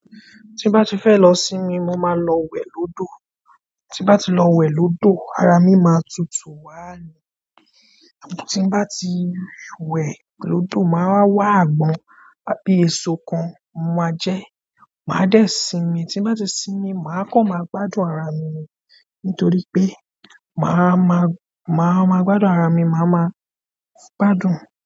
Tí n bá ti fẹ́ lọ sinmi, mo má a lọ wẹ̀ lódò. Tí n bá ti ọ wẹ̀ lódò, ara mi ma tutù wá ni tí n bá ti wẹ̀ lódò, mà á wá àgbọ́n, àbí èso kan, mo máa jẹẹ́, màá dẹ̀ sinmi. Tí n bá ti sinmi, mà á kàn máa gbádùn ara mi ni. Nítorí pé màá máa, màá máa gbádùn ara mi, màá máa gbádùn.